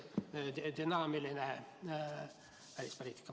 ... et oleks dünaamiline välispoliitika.